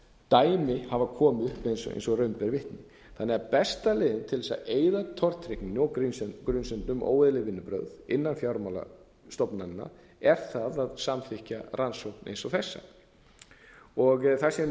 dæmi hafa komið upp eins og raun ber vitni þannig að besta leiðin til að eyða tortryggninni og grunsemdum áóeðlilegum vinnubrögðum innan fjármálastofnananna er það að samþykkja rannsókn eins og þessa það sem nefndinni er